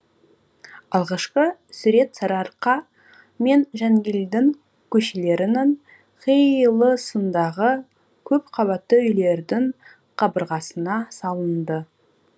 алғашқы сурет сарыарқа мен жангелдін көшелерінің қиылысындағы көпқабатты үйлердің қабырғасына салынды